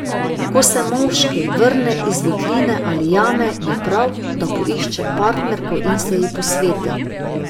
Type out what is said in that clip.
Ko se moški vrne iz votline ali jame, je prav, da poišče partnerko in se ji posveti.